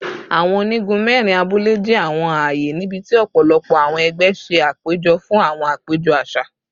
Awọn onigun mẹrin abule jẹ awọn aaye nibiti ọpọlọpọ awọn ẹgbẹ ṣe apejọ fun awọn apejọ aṣa